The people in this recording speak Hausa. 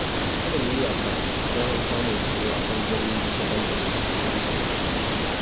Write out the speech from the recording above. Kada mu yi wasa da damar samun horo a ɓagarori daban-daban ta intanet